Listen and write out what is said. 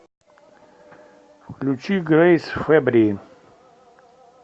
включи грэйс фэббри